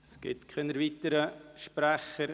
Es gibt keine weiteren Sprecher.